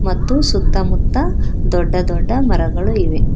ಮತ್ತು ಸುತ್ತ ಮುತ್ತ ದೊಡ್ಡ ದೊಡ್ಡ ಮರಗಳು ಇವೆ.